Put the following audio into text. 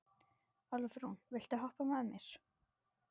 Álfrún, viltu hoppa með mér?